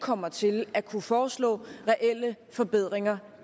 kommer til at kunne foreslå reelle forbedringer